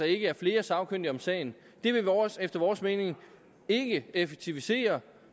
ikke er flere sagkyndige om sagen vil efter vores mening ikke effektivisere